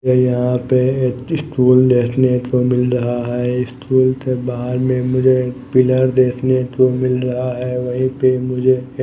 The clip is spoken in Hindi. ये यहां पे एक स्टूल देखने को मिल रहा है स्टूल के बाहर में मुझे एक पिलर देखने को मिल रहा है वहीं पे मुझे --